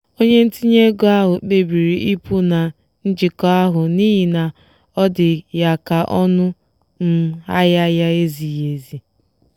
onye ntinye ego ahụ kpebiri ịpụ na njikọ ahụ n'ihi na ọ dị ya ka ọnụ um ahịa ya ezighị ezi.